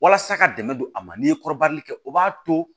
Walasa ka dɛmɛ don a ma n'i ye kɔrɔbali kɛ o b'a to